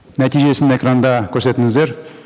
нәтижесін экранда көрсетіңіздер